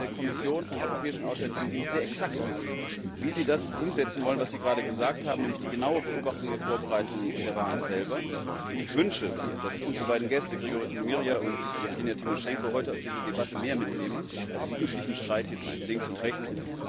Ich möchte von der Kommission und vom Europäischen Auswärtigen Dienst sehr exakt wissen, wie sie das umsetzen wollen, was Sie gerade gesagt haben, nämlich die genaue Beobachtung der Vorbereitungen und der Wahlen selber. Ich wünsche mir, dass unsere beiden Gäste, Hryhorij Nemyria und Jewgenia Timoschenko, heute aus dieser Debatte mehr mitnehmen als den üblichen Streit zwischen links und rechts.